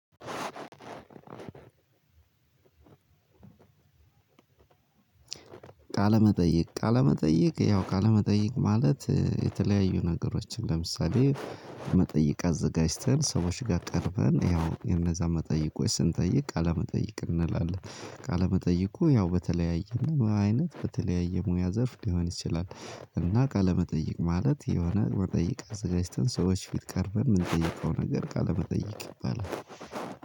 ቃለመጠየቅ ቃለመጠይቅ ያው ቃለመጠይቅ ማለት የተለያዩ ነገሮችን ለምሳሌ መጠይቅ አዘጋጅተን ሰዎች ጋር ቀርበን ያው የነዛ መጠይቆች ስንጠይቅ ቃለ መጠይቅ እንላለን። ቃለ መጠይቁ ያው በተለያየ አይነት በተለያየ ሙያ ዘርፍ ሊሆን ይችላል። እና ቃለ መጠይቅ ማለት የሆነ መጠይቅ አዘጋጅተን ሰዎች ፊት ቀርበን የምንጠይቀው ነገር ቃለ መጠይቅ ይባላል።